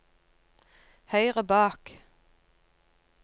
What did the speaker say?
høyre bak